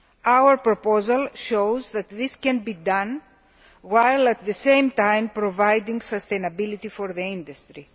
Our proposal shows that this can be done while, at the same time, providing sustainability for the industry.